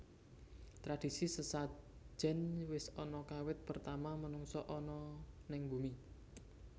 Tradisi sesajen wis ana kawit pertama menungsa ana neng bumi